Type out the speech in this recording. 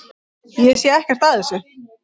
Ég sé ekkert að þessu.